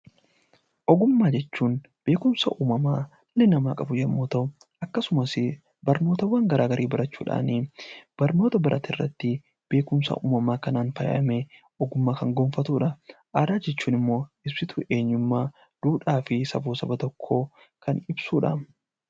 Ogummaa jechuun beekumsa uumamaa dhalli namaa qabu yoo ta'u, akkasumas barnoota garaagaraa barachuudhaan barnoota barate kana irratti beekumsa uumamaa faayamee ogummaa kan gonfatudha. Aadaa jechuun immoo ibsituu eenyummaa, duudhaa saba tokkoo kan ibsudha.